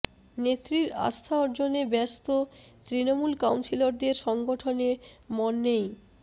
নেত্রীর আস্থা অর্জনে ব্যস্ত তৃণমূল কাউন্সিলরদের সংগঠনে মন নেই